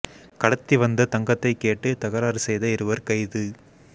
கடத்தி வந்த தங்கத்தை கேட்டு தகராறு செய்த இருவா் கைது